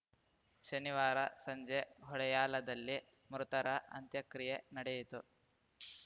ಶನಿವಾರ ಸಂಜೆ ಹೊಡೆಯಾಲದಲ್ಲಿ ಮೃತರ ಅಂತ್ಯಕ್ರಿಯೆ ನಡೆಯಿತು